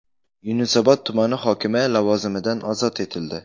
Yunusobod tumani hokimi lavozimidan ozod etildi.